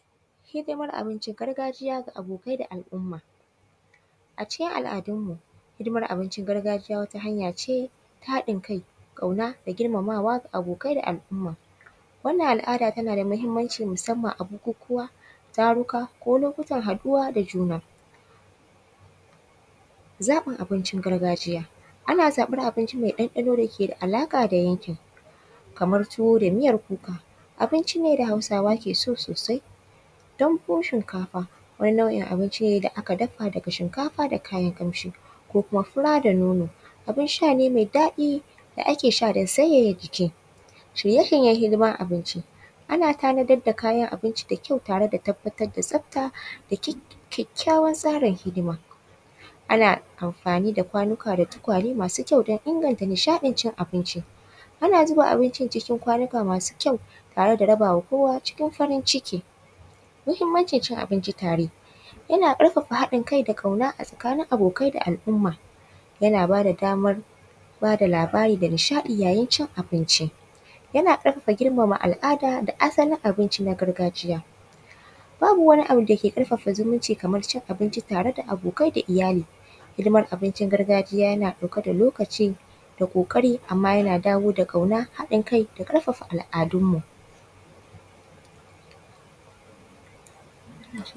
Hidimar abinci gargajiya ga abokai da al’umma. A cikin al’adunmu, hidimar abincin gargajiya wata hanya ce ta haɗin kai, ƙauna da girmamawa ga abokai da al’umma. Wannan al’ada tana da muhimmanci musamman a bukukuwa, taruka ko lokutan haɗuwa da juna. Zaɓin abincin gargajiya: ana zaɓar abinci mai ɗanɗano da ke da alaƙa da yankin kamar tuwo da miyar kuka, abinci ne da Hausawa ke so sosai. Dambun shinkafa:- wani nau’in abinci ne da aka dafa daga shinkafa da kayan ƙamshi ko kuma fura da nono:- abin sha ne mai daɗi da ake sha don sanyaya jiki. Shirye-shiryen hidimar abinci: ana tabbatar da kayan abinci da kyau da tabbatar da tsafta da kyakkyawan tsarin hidima. Ana amfani da kwanuka da tukwane masu kyau don inganta nishaɗin cin abinci. Ana zuba abincin cikin kwanuka masu kyau tare da rabawa kowa cikin farin ciki. Muhimmancin cin abinci tare: yana ƙarfafa haɗin kai da ƙauna tsakanin abokai da al’umma. Yana ba da damar ba da labari da nishaɗi yayin cin abinci. Yana ƙarfafa girmama al’ada da asalin abinci na gargajiya. Babu wani abu da ke ƙarfafa zumunci kamar cin abinci tare da abokai da iyali. hidimar abincin gargajiya yana ɗauke da lokaci da ƙoƙari amma yana dawo da ƙauna, haɗin kai da ƙarfafa al’adunmu.